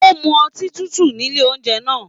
O mú ọtí tútù nílé oúnjẹ náà.